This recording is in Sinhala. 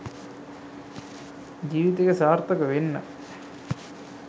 ජීවිතයේ සාර්ථක වෙන්න